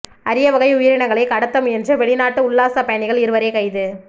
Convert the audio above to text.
அரிய வகை உயிரினங்களை கடத்த முயன்ற வெளிநாட்டு உல்லாச பயணிகள் இருவரை கைது